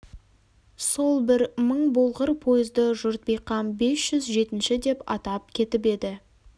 сол бір мың болғыр пойызды жұрт бейқам бес жүз жетінші деп атап кетіп еді